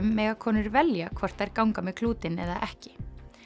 mega konur velja hvort þær ganga með klútinn eða ekki